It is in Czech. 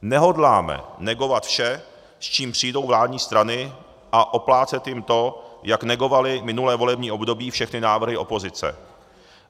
Nehodláme negovat vše, s čím přijdou vládní strany, a oplácet jim to, jak negovaly minulé volební období všechny návrhy opozice.